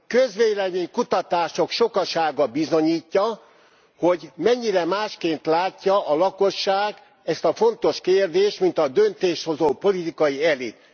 Közvélemény kutatások sokasága bizonyítja, hogy mennyire másként látja a lakosság ezt a fontos kérdést, mint a döntéshozó politikai elit.